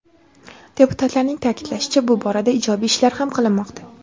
Deputatlarning ta’kidlashicha, bu borada ijobiy ishlar ham qilinmoqda.